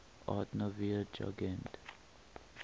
art nouveau jugend